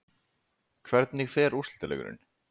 Hvernig fer úrslitaleikurinn?